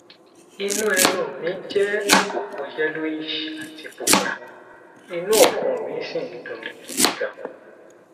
inú ẹnu mi jẹ àpòpọ yellowish àti pupa inú ọfun mi sì ń dunni gidi ganan